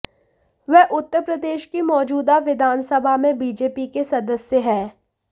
वह उत्तर प्रदेश की मौजूदा विधानसभा में बीजेपी के सदस्य हैं